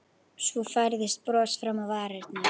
Svo færðist bros fram á varirnar.